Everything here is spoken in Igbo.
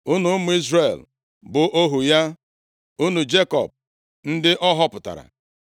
Unu, ụmụ Izrel, bụ ohu ya ụmụ Jekọb, ndị ọ họpụtara.